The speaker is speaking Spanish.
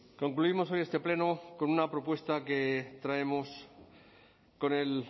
concluimos hoy este pleno con una propuesta que traemos con el